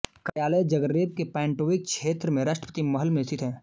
कार्यालय ज़गरेब के पैंटोविक क्षेत्र में राष्ट्रपति महल में स्थित है